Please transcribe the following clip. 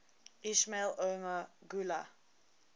ismail omar guelleh